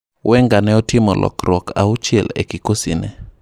Wenger ne otimo lokruok auchiel e kikosi ne .